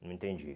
Não entendi.